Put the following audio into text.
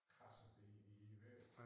Kradset i i væv